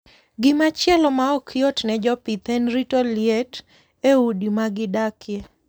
Gima chielo ma ok yot ne jopith en rito liet e udi ma gidakie.